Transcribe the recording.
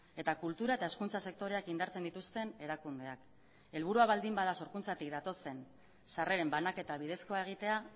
eta kultura eta hezkuntza sektoreak indartzen dituzten erakundeak helburua baldin bada sorkuntzatik datozen sarreren banaketa bidezkoa egitea